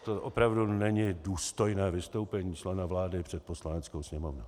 To opravdu není důstojné vystoupení člena vlády před Poslaneckou sněmovnou.